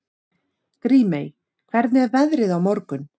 Grímey, hvernig er veðrið á morgun?